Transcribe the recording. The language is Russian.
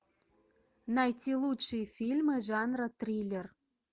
найти лучшие фильмы жанра триллер